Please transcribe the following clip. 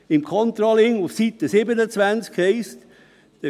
Unter Controlling auf Seite 27 heisst es: